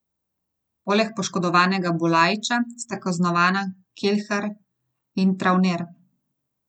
Poleg poškodovanega Bulajiča sta kaznovana Kelhar in Travner.